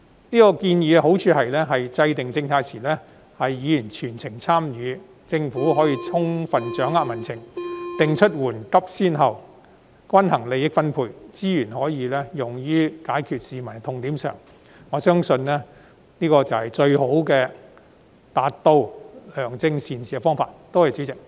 這建議的好處是制訂政策時，議員能夠全程參與，政府可以充分掌握民情，定出緩急先後、均衡利益分配，將資源用於解決市民的痛點，我相信這是實現良政善治的方法。